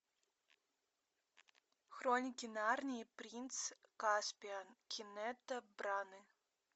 хроники нарнии принц каспиан кеннета браны